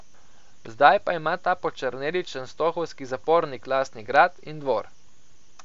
Zdaj pa ima ta počrneli čenstohovski zapornik lastni grad in dvor.